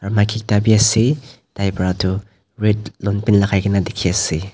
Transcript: maki ekta bi ase taipra tired long pant lakai na dikhiase.